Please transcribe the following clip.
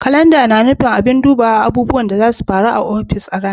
Kalanda na nufin abin duba abubuwan da zasu faru da rana a ofis.